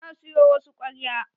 Na siyo wasu kwarya.